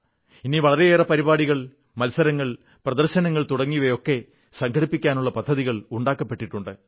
ഇനി വളരേയേറെ പരിപാടികൾ മത്സരങ്ങൾ പ്രദർശനങ്ങൾ തുടങ്ങിയവയൊക്കെ സംഘടിപ്പിക്കാനുള്ള പദ്ധതികൾ ഉണ്ടാക്കപ്പെട്ടിട്ടുണ്ട്